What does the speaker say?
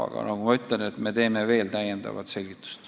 Aga nagu ma ütlesin, me teeme veel täiendavat selgitust.